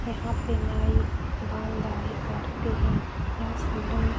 यहाँ पे नाई बाल दाढ़ी काटते हैं। यह सैलून --